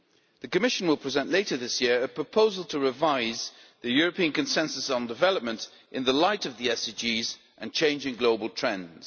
The Commission will present later this year a proposal to revise the European Consensus on Development in the light of the SDGs and changing global trends.